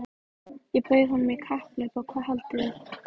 Ég bauð honum í kapphlaup og hvað haldið þið?